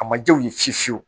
A ma ja u ye fiye fiye fiyewu